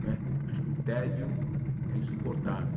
Né acho que o tédio é insuportável.